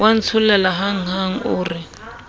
wa ntsholela hanghang o re